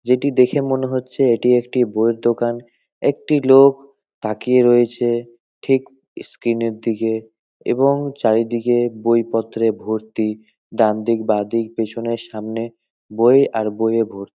যেটি দেখে মনে হচ্ছে এটি একটি বইয়ের দোকান। একটি লোক তাকিয়ে রয়েছে ঠিক স্ক্রিন - এর দিকে এবং চারি দিকে বইপত্রে ভর্তি। ডান দিক বা দিক পেছনে সামনে বই আর বই এ ভো --